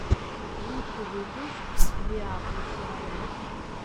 лучший выпуск виапуссирайот